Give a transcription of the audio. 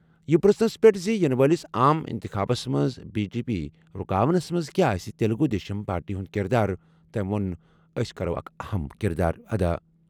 یہِ پرٛژھنَس پٮ۪ٹھ زِ یِنہٕ وٲلِس عام اِنتِخابس منٛز بی جے پی رُکاونس منٛز کیٛاہ آسہِ تیلگوٗ دیشم پارٹی ہُنٛد کِردار، تٔمۍ ووٚن، "أسۍ کَرو اکھ اَہَم کِردار ادا۔